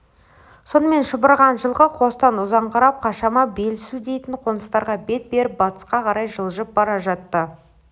сонымен шұбырған жылқы қостан ұзаңқырап қашама белсу дейтін қоныстарға бет беріп батысқа қарай жылжып бара жатты